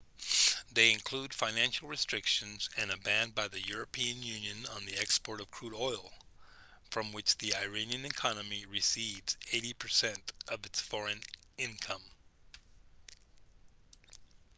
they include financial restrictions and a ban by the european union on the export of crude oil from which the iranian economy receives 80% of its foreign income